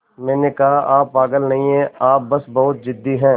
मैंने कहा आप पागल नहीं हैं आप बस बहुत ज़िद्दी हैं